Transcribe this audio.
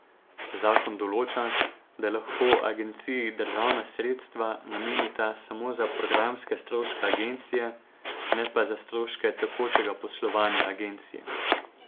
Zakon določa, da lahko agenciji državna sredstva namenita samo za programske stroške agencije, ne pa za stroške tekočega poslovanja agencije.